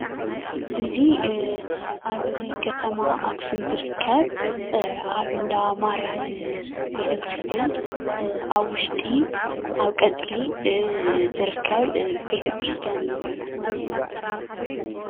እዚ ኣብ ከተማ ኣክሱም ዝርከብ ኣብ እንዳማርያም ቤተ ክርስትያን ኣብ ውሽጢ ኣብ ቐፅሪ ዝርከብ ቤተ ክርስትያን እዩ ።